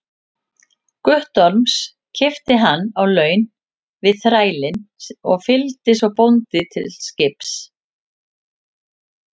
Guttorms, keypti hann á laun við þrælinn og fylgdi svo bónda til skips.